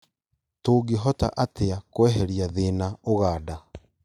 Tũngĩhota atĩa kweheria thĩna Uganda?